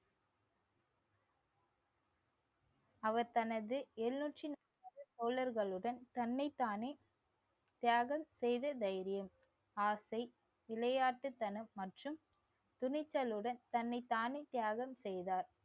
அவர் தனது தோழர்களுடன் தன்னைத்தானே தியாகம் செய்த தைரியம் ஆசை விளையாட்டுத்தனம் மற்றும் துணிச்சலுடன் தன்னைத்தானே தியாகம் செய்தார்